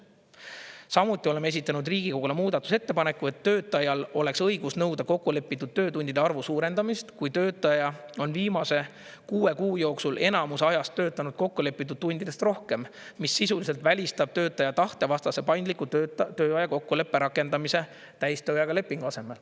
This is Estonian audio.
Samuti oleme esitanud Riigikogule muudatusettepaneku, et töötajal oleks õigus nõuda kokkulepitud töötundide arvu suurendamist, kui töötaja on viimase kuue kuu jooksul enamus ajast töötanud kokkulepitud tundidest rohkem, mis sisuliselt välistab töötaja tahtevastase paindliku tööaja kokkuleppe rakendamise täistööajaga lepingu asemel.